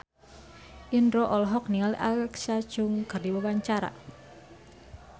Indro olohok ningali Alexa Chung keur diwawancara